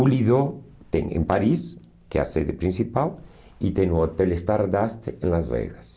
O Lido tem em Paris, que é a sede principal, e tem o Hotel Stardust em Las Vegas.